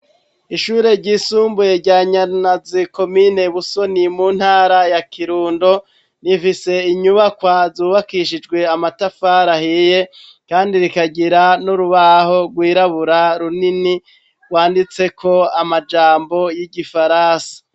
Ishure ryisumbuye rya Nyarunazi komine Busoni mu ntara ya Kirundo rifise inyubakwa zubakishijwe amatafari ahiye kandi rikagira n'urubaho rwirabura runini rwanditseko amajambo y'igifaransa.